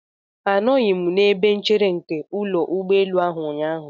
Anọghị m n'ebe nchere nke ụlọ ụgbọelu ahụ ụnyaahụ.